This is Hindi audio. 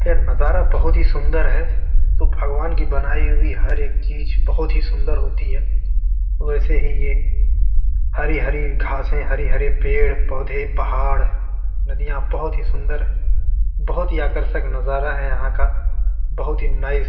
ये नज़ारा बहुत ही सुंदर है जो भगवान की बनाई हुई हर एक चीज़ बहुत ही सूंदर होती है वैसे ही ये हरी-हरी घासें हरी-हरी पेड़-पौधे पहाड़ नदियाँ बहुत ही सूंदर है बहुत आकर्षक नज़ारा है यहाँ का बहुत ही नाइस ।